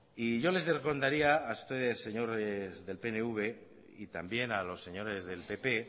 y yo les a ustedes señores del pnv y también a los señores del